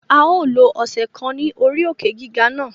A yoo lo ọsẹ kan ni ori òkè-giga na